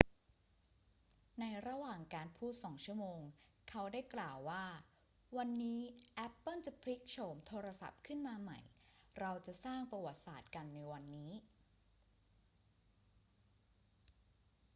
ในระหว่างการพูด 2 ชั่วโมง เขาได้กล่าวว่า วันนี้แอปเปิลจะพลิกโฉมโทรศัพท์ขึ้นมาใหม่ เราจะสร้างประวัติศาสตร์กันในวันนี้